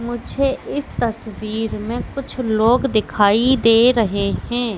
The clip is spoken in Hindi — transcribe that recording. मुझे इस तस्वीर में कुछ लोग दिखाई दे रहे हैं।